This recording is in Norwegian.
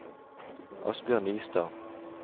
Asbjørn Nystad